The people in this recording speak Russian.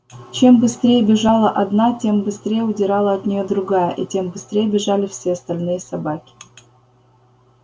чем быстрее бежала одна тем быстрее удирала от неё другая и тем быстрее бежали все остальные собаки